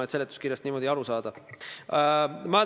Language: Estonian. Miks selle seadusega niimoodi läks?